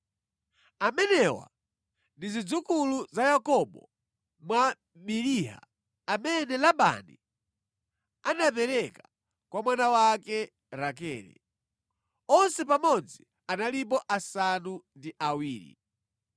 Amenewa ndi zidzukulu za Yakobo mwa Biliha amene Labani anapereka kwa mwana wake Rakele. Onse pamodzi analipo asanu ndi awiri.